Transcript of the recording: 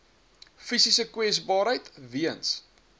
fisiese kwesbaarheid weens